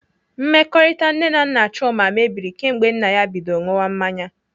Mmekọrịta nne na nna Chuma mebiri kemgbe nna ya bido ṅụwa mmanya.